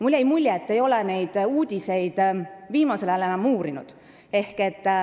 Mulle jäi mulje, et te ei ole neid uudiseid viimasel ajal enam uurinud.